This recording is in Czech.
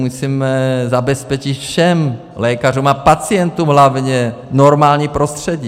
Musíme zabezpečit všem lékařům a pacientům hlavně normální prostředí.